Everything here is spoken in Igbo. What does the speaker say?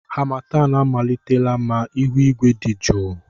Harmattan amalitela ma ihu igwe dị jụụ.